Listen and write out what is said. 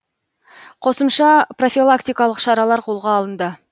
қосымша профилактикалық шаралар қолға алынды